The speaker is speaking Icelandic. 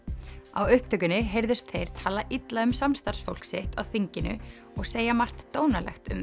á upptökunni heyrðust þeir tala illa um samstarfsfólk sitt á þinginu og segja margt dónalegt um